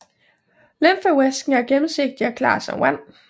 Lymfevæsken er gennemsigtig og klar som vand